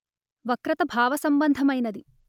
వక్రత భావ సంభంధమైనది